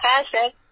হ্যাঁ স্যার